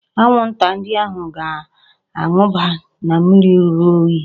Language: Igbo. Anwụnta ndị ahụ ga-amụba na mmiri ruru unyi